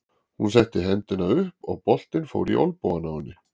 Hún setti hendina upp og boltinn fór í olnbogann á henni.